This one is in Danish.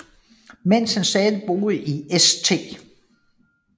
Mens han stadig boede i St